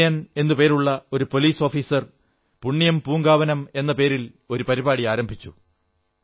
വിജയൻ എന്നു പേരുള്ള ഒരു പോലീസ് ഓഫീസർ പുണ്യം പൂങ്കാവനം എന്ന പേരിൽ ഒരു പരിപാടി ആരംഭിച്ചു